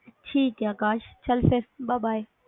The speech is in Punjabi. ਠੀਕ ਐ ਕਾਸ਼ ਚਲ ਫਿਰ bye bye